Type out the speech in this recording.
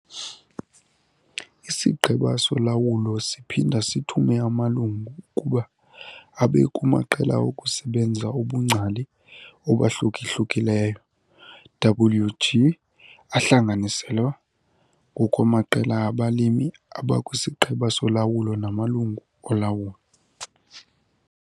IsiGqeba soLawulo siphinda sithume amalungu ukuba abe kumaQela okuSebenza obungcali obahluka-hlukileyo, WG, ahlanganiselwa ngokwamaqela abalimi abakwisiGqeba soLawulo namalungu olawulo.